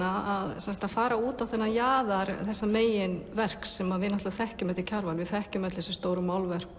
að fara út á þennan jaðar þessa megin verks sem við þekkjum eftir Kjarval við þekkjum öll þessi stóru málverk